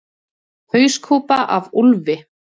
Hauskúpa af úlfi.